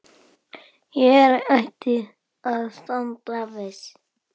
Hér ætti að standa viss.